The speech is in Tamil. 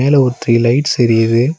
உள்ள ஒரு த்ரி லைட்ஸ் எரியிது.